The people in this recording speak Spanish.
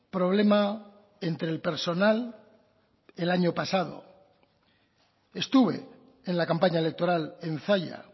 problema entre el personal el año pasado estuve en la campaña electoral en zalla